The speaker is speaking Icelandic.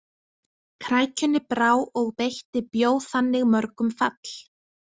Krækjunni brá og beitti bjó þannig mörgum fall.